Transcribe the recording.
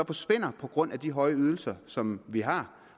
forsvinder på grund af de høje ydelser som vi har